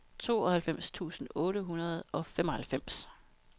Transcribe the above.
tooghalvfems tusind otte hundrede og femoghalvfems